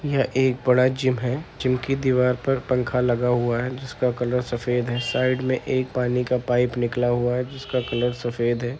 यह एक बड़ा जिम है। जिम की दीवार पर पंखा लगा हुआ है। जिसका कलर सफेद है। साइड में एक पानी का पाइप निकला हुआ है जिसका कलर सफेद है।